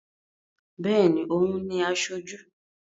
Béèni, o ń ni aṣojú